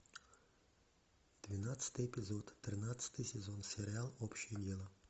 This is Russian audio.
двенадцатый эпизод тринадцатый сезон сериал общее дело